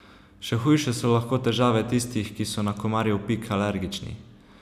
Še hujše so lahko težave tistih, ki so na komarjev pik alergični.